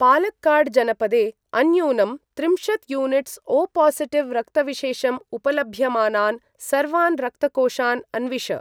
पालक्काड् जनपदे अन्यूनं त्रिंशत् युनिट्स् ओ पासिटिव रक्तविशेषम् उपलभ्यमानान् सर्वान् रक्तकोषान् अन्विष।